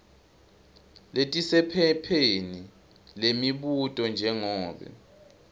letisephepheni lemibuto njengobe